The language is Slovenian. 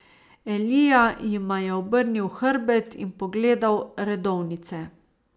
Elija jima je obrnil hrbet in pogledal redovnice.